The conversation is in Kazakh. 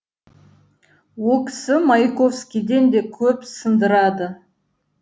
о кісі маяковскийден де көп сындырады